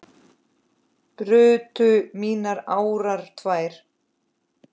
brutu mínar árar tvær